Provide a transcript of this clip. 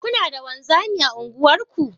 Kuna da wanzami a unguwarku?